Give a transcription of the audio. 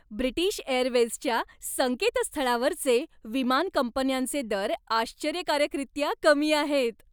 British एअरवेजच्या संकेतस्थळावरचे विमान कंपन्यांचे दर आश्चर्यकारकरीत्या कमी आहेत.